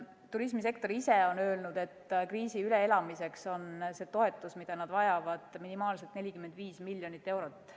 Turismisektor ise on öelnud, et kriisi üleelamiseks on toetus, mida nad vajavad, minimaalselt 45 miljonit eurot.